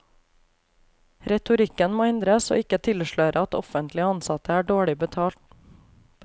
Retorikken må endres og ikke tilsløre at offentlige ansatte er dårlig betalt.